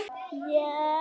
Og svo aðra til.